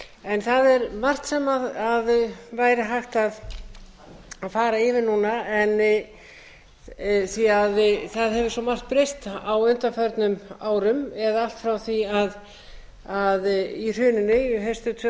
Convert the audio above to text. en það væri margt sem væri hægt að fara yfir núna því það hefur svo margt breyst á undanförnum árum eða allt frá því í hruninu haustið tvö